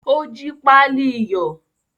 O jí pali iyọ̀.